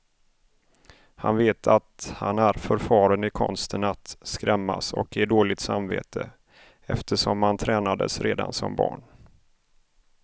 Han vet att han är förfaren i konsten att skrämmas och ge dåligt samvete, eftersom han tränades redan som barn.